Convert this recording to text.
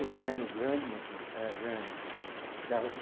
O terreno grande, meu irmão, era grande. Dava